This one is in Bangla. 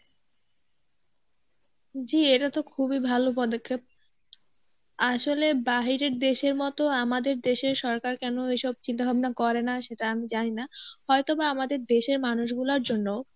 জী এটা তো খুবই ভালো পদক্ষেপ. আসলে বাহিরের দেশের মতো আমাদের দেশের সরকার কেন এসব চিন্তা-ভাবনা করে না সেটা আমি জানি না, হয়তোবা আমাদের দেশের মানুষ গুলার জন্য